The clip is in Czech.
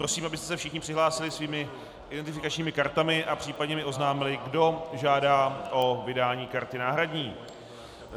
Prosím, abyste se všichni přihlásili svými identifikačními kartami a případně mi oznámili, kdo žádá o vydání karty náhradní.